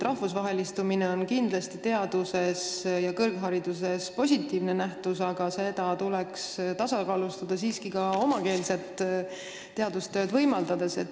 Rahvusvahelistumine on kindlasti teaduses ja kõrghariduses positiivne nähtus, aga seda tuleks tasakaalustada siiski ka omakeelset teadustööd võimaldades.